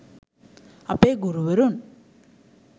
අපේ ගුරුවරුන්